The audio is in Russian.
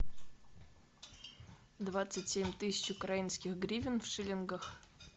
двадцать семь тысяч украинских гривен в шиллингах